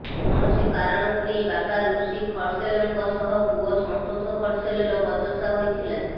କୌଣସି କାରଣକୁ ନେଇ ବାପା ଋଷି ଖର୍ସେଲଙ୍କ ସହ ପୁଅ ସନ୍ତୋଷ ଖର୍ସେଲର ବଚସା ହୋଇଥିଲା